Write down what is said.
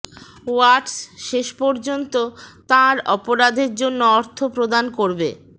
ওয়াটস শেষ পর্যন্ত তাঁর অপরাধের জন্য অর্থ প্রদান করবে